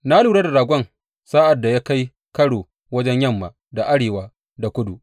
Na lura da ragon sa’ad da ya kai karo wajen yamma da arewa da kudu.